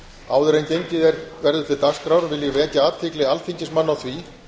áður en gengið verður til dagskrár vilja ég vekja athygli alþingismanna á því